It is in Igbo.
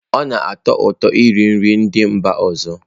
Ọ na-atọ ụtọ iri nri ndị mba ọzọ.